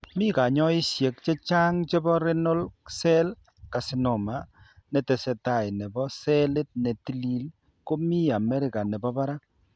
Mi kanyoisoshek chechang' chebo Renal cell Carcinoma netesetai nebo selit ne tilil ko mi America nebo barak.